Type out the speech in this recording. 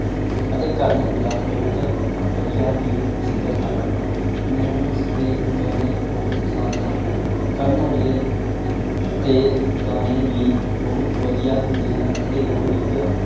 ਅਤੇ ਕਰਨ ਔਜਲਾ ਬਹੁਤ ਵਧਿਆ ਹੀ singer ਹਨ ਮਨੁ ਉਸਦੇ ਗਾਣੇ ਬਹੁਤ ਪਸੰਦ ਹਨ ਕਰਨ ਔਜਲੇ ਤੇ ਗਾਣੇ ਵੀ ਬਹੁਤ ਵਧਿਆ ਹੁੰਦੇ ਹਨ ਅਤੇ ਓਹੋ ਇਕ